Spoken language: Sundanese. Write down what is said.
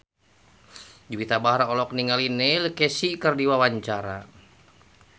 Juwita Bahar olohok ningali Neil Casey keur diwawancara